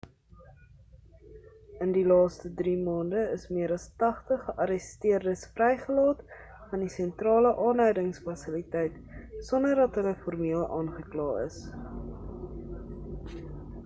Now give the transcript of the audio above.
in die laaste 3 maande is meer as 80 gearresteerdes vrygelaat van die sentrale aanhoudingsfasiliteit sonder dat hulle formeel aangekla is